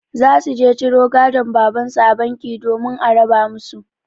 Za su je ciro gadon babansu a banki domin a raba musu.